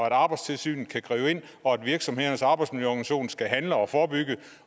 at arbejdstilsynet kan gribe ind og at virksomhedernes arbejdsmiljøorganisation skal handle og forebygge